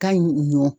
Ka ɲi ɲɔn